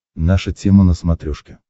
наша тема на смотрешке